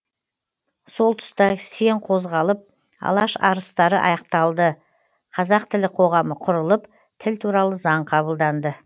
сол тұста сең қозғалып алаш арыстары ақталды қазақ тілі қоғамы құрылып тіл туралы заң қабылданды